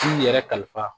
I yɛrɛ kalifa